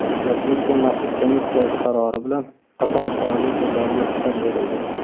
Respublika maxsus komissiyasi qarori bilan qator faoliyat turlariga ruxsat berildi.